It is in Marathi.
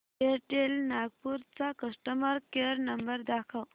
एअरटेल नागपूर चा कस्टमर केअर नंबर दाखव